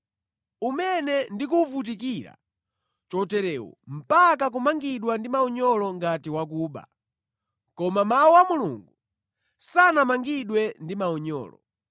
umene ndikuwuvutikira choterewu mpaka kumangidwa ndi maunyolo ngati wakuba. Koma mawu a Mulungu sanamangidwe ndi maunyolo.